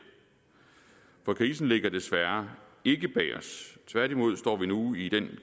for krisen ligger desværre ikke bag os tværtimod står vi nu i den